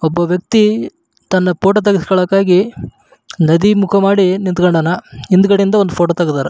ಒಬ್ಬ ವ್ಯಕ್ತಿ ತನ್ನ ಫೋಟೋ ತೆಗೆಸ್ಕೊಲಿಕ್ಕಾಗಿ ಒಂದು ನದಿ ಮುಖ ಮಾಡಿ ನಿಂಥಕೊಂಡಾಣ ಹಿಂದುಗಡೆ ಇಂದ ಫೋಟೋ ತೆಗ್ದರ.